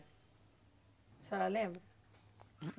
A senhora lembra?